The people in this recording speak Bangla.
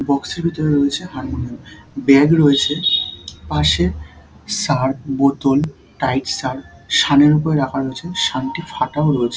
বাক্স - এর ভেতরে রয়েছে হারমোনিয়াম ব্যাগ রয়েছে পাশে শার্প বোতল টাইট শার্প শানের উপরে রাখা রয়েছে শানটি ফাটাও রয়েছে ।